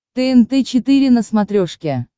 тнт четыре на смотрешке